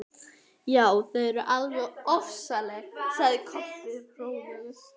Já, þau eru alveg ofsaleg, sagði Kobbi hróðugur.